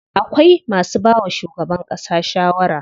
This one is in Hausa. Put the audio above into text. Akwai masu bawa shugaban ƙasa shawara.